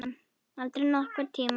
Aldrei nokkurn tímann.